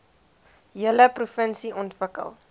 hele provinsie ontwikkel